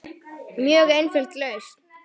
Mjög einföld lausn.